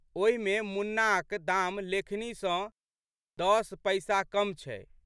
ओहि मे मुन्नाक दाम लेखनी सँ दस पैसा कम छै।